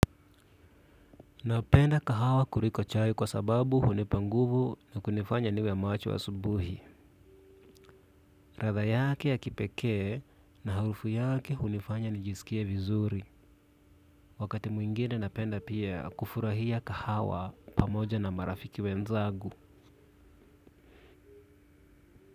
Napenda kahawa kuliko chai kwa sababu hunipa nguvu na kunifanya niwe macho asubuhi ladha yake ya kipekee na harufu yake hunifanya nijisikie vizuri. Wakati mwingine napenda pia kufurahia kahawa pamoja na marafiki wenzangu.